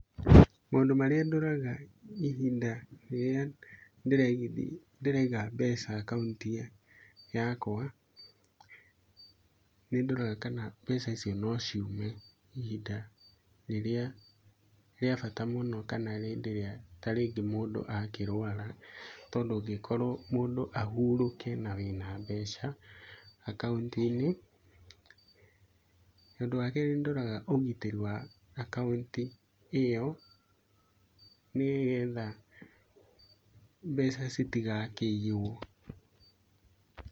Maũndũ marĩa ndoraga hĩndĩ ĩrĩa ndĩraiga mbeca akaunti-inĩ yakwa. Nĩndoraga kana mbeca icio nociume ihinda rĩrĩa rĩa bata mũno kana hĩndĩ ĩrĩa tarĩngĩ mũndũ akĩrwara. Tondũ angĩkorwo mũndũ ahurũke na wĩna mbeca akaunti-inĩ. ũndũ wakerĩ nĩndoraga ũgitĩri wa akaunti ĩyo nĩgetha mbeca citigakĩiywo.